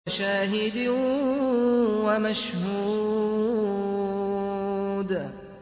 وَشَاهِدٍ وَمَشْهُودٍ